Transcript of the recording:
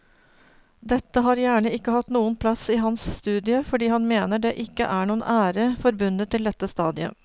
Dette har gjerne ikke hatt noen plass i hans studie fordi han mener det ikke er noen ære forbundet til dette stadiet.